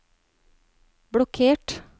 blokkert